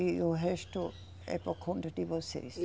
E o resto é por conta de vocês.